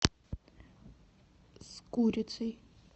с курицей